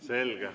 Selge.